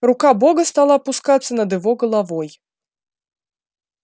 рука бога стала опускаться над его головой